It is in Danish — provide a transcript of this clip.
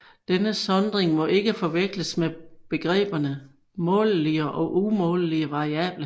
Denne sondring må ikke forveksles med begreberne målelige og umålelige variable